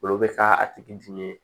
Olu bɛ k'a tigi dimi ye